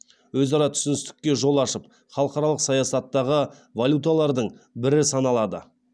өзара түсіністікке жол ашып халықаралық саясаттағы валюталардың бірі саналады